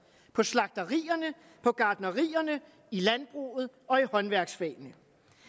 på slagterierne på gartnerierne i landbruget og i håndværksfagene